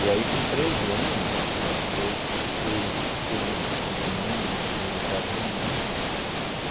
E aí, com treze anos, eu fui com com minha mãe no no juizado de menor.